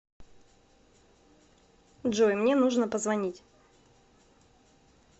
джой мне нужно позвонить